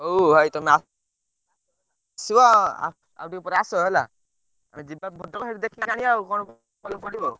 ହଉ ଭାଇ ତମେ ଆ ସିବ ଆଉ ଟିକେ ପରେ ଆସ ହେଲା, ଆମେ ଯିବା ଭଦ୍ରକ ସେଠୁ ଦେଖିକି ଆଣିବା ଆଉ କଣ ଭଲପଡିବ ଆଉ।